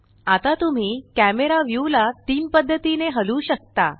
आता तुम्ही camera view ला तीन पद्धतीने हलवू शकता